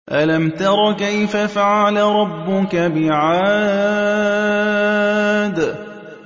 أَلَمْ تَرَ كَيْفَ فَعَلَ رَبُّكَ بِعَادٍ